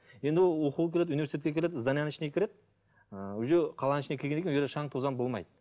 енді ол оқуға келеді университетке келеді зданиенің ішіне кіреді ы уже қаланың ішіне кіргеннен кейін ол жерде шаң тозаң болмайды